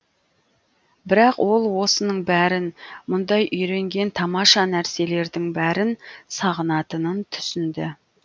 бірақ ол осының бәрін мұнда үйренген тамаша нәрселердің бәрін сағынатынын түсінді